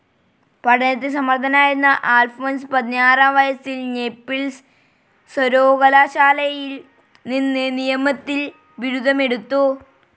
പഠനത്തിൽ സമർഥനായിരുന്ന അൽഫോൻസ് പതിനാറാം വയസിൽ നേപ്പിൾസ് സര്വകലാശാലയിൽ നിന്ന് നിയമത്തിൽ ബിരുദമെടുത്തു.